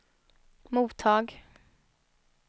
mottag